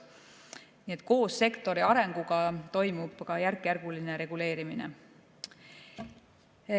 Nii et koos sektori arenguga toimub ka järkjärguline reguleerimine.